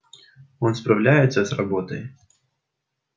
он справляется с работой